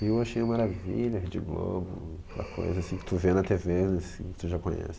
Rio eu achei uma maravilha, Rede Globo, aquela coisa assim que tu vê na te ve assim, que tu já conhece.